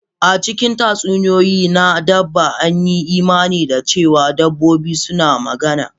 A cikin tatsuniyoyi na dabba, an yi imani da cewa dabbobi suna magana.